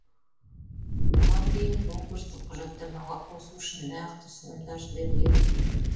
бұдан кейін конкурстық құжаттамаға қосу үшін нақты ұсынымдар жіберіледі